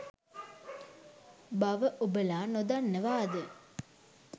බව ඔබලා නොදන්නවාද?